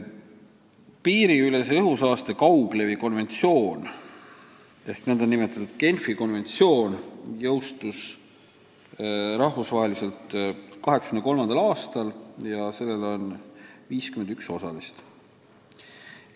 Piiriülese õhusaaste kauglevi konventsioon ehk nn Genfi konventsioon jõustus rahvusvaheliselt 1983. aastal ja sellel on 51 osalist.